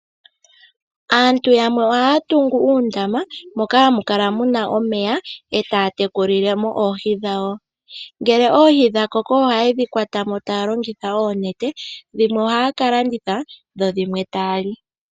Aantu yamwe ohaya tungu uundama moka hamu kala muna omeya etaya tekulile mo oohi dhawo. Ngele oohi dha koko ohaye dhi kwata mo taya longitha oonete dhimwe ohaya ka landitha dho dhimwe taya li.